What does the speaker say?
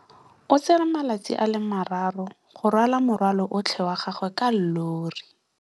O tsere malatsi a le marraro go rwala morwalo otlhe wa gagwe ka llori.